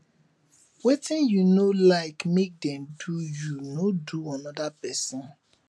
wetin yu no lyk mek dem do yu no do anoda pesin